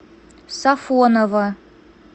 сафоново